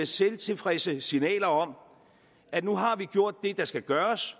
selvtilfredse signaler om at nu har man gjort det der skal gøres